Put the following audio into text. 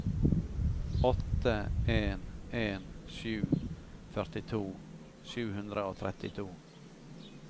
åtte en en sju førtito sju hundre og trettito